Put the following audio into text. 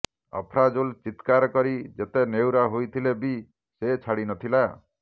ଆଫ୍ରାଜୁଲ୍ ଚିତ୍କାର କରି ଯେତେ ନେହୁରା ହୋଇଥିଲେ ବି ସେ ଛାଡ଼ିନଥିଲା